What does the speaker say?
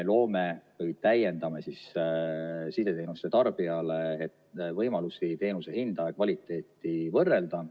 Me täiendame sideteenuste tarbija võimalusi teenuse hinda ja kvaliteeti võrrelda.